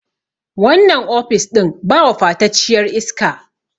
wannan ofis ɗin ba wafatacciyar iska